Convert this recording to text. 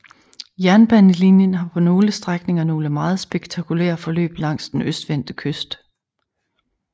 Jernbanelinjen har på nogle strækninger nogle meget spektakulære forløb langs den østvendte kyst